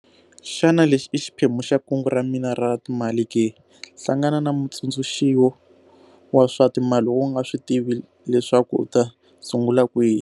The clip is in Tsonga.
Xana lexi i xiphemu xa kungu ra mina ra timali ke? Hlangana na mutsundzuxi wa swa timali loko u nga swi tivi leswaku u ta sungula kwihi.